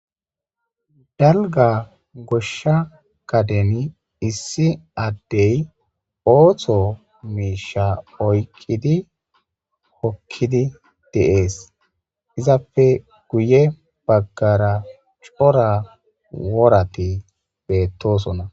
dalga goshsha kadeni issi addey ooththo miisha oyqqidi hokkidi de'ees izapfe guye baggara cora worati beettosona